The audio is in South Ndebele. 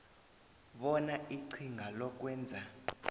bona iqhinga lokwenza